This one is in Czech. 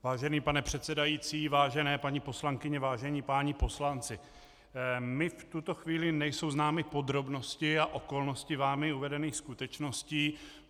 Vážený pane předsedající, vážené paní poslankyně, vážení páni poslanci, mě v tuto chvíli nejsou známy podrobnosti a okolnosti vámi uvedených skutečností.